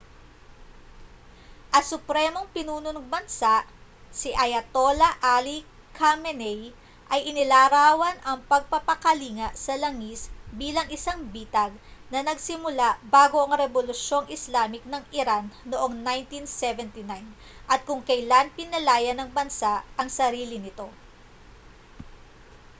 ang supremong pinuno ng bansa si ayatollah ali khamenei ay inilarawan ang pagpapakalinga sa langis bilang isang bitag na nagsimula bago ang rebolusyong islamic ng iran noong 1979 at kung kailan pinalaya ng bansa ang sarili nito